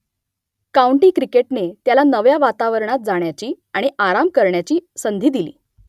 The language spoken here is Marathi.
काऊंटी क्रिकेटने त्याला नव्या वातावरणात जाण्याची आणि आराम करण्याची संधी दिली